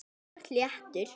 Þú ert léttur.